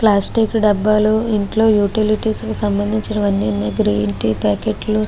Plastic డబ్బాలు ఇంట్లో utilities సంబంధించినవి అన్ని ఉన్నాయి. గ్రీన్ టీ ప్యాకెట్లు --